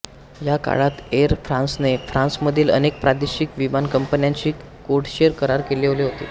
या काळात एर फ्रांसने फ्रांसमधील अनेक प्रादेशिक विमानकंपन्यांशी कोडशेर करार केलेले होते